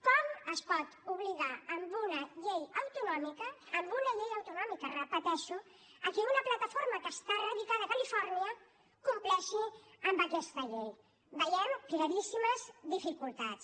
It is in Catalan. com es pot obligar amb una llei autonòmica amb una llei autonòmica ho repeteixo a que una plataforma que està radicada a califòrnia compleixi amb aquesta llei hi veiem claríssimes dificultats